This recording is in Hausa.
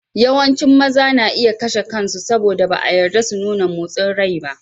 Yawancin maza na iya kashe kansu saboda ba a yarda su nuna motsin rai ba.